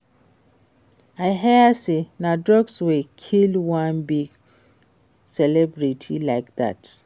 I hear say na drugs wey kill one big celebrity like dat